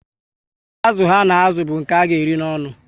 Azụ ha na azụ bu nke ha ga eri n'onu